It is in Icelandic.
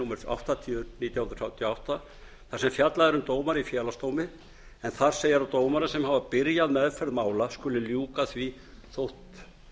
númer áttatíu nítján hundruð þrjátíu og átta þar sem fjallað er um dómara í félagsdómi en þar segir að dómarar sem hafa byrjað meðferð mála skuli ljúka því þótt